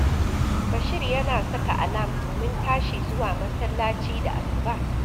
Bashir yana saka alam domin tashi zuwa masallaci da asuba